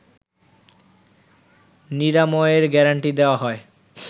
নিরাময়ের গ্যারান্টি দেওয়া হয়